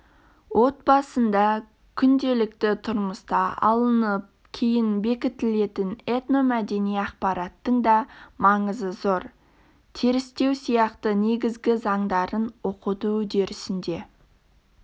отбасында күнделікті тұрмыста алынып кейін бекітілетін этномәдени ақпараттың да маңызы зор терістеу сияқты негізгі заңдарын оқыту үдерісінде